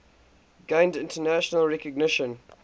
gained international recognition